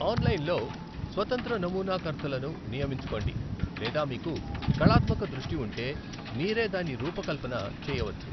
Online లో స్వతంత్ర నమూనా కర్తలను నియమించుకోండి లేదా మీకు కళాత్మక దృష్టి ఉంటే మీరే దాని రూపకల్పన చేయవచ్చు.